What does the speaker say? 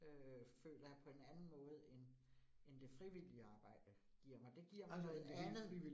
Øh føler jeg på en anden måde end end det frivillige arbejde giver mig. Det giver mig noget andet